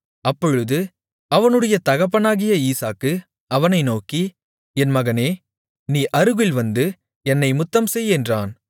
அப்பொழுது அவனுடைய தகப்பனாகிய ஈசாக்கு அவனை நோக்கி என் மகனே நீ அருகில் வந்து என்னை முத்தம்செய் என்றான்